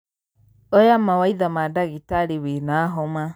Oya mawaitha ma ndagĩtarĩwĩna homa.